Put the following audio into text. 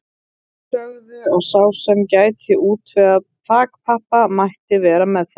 Þeir sögðu að sá sem gæti útvegað þakpappa mætti vera með þeim.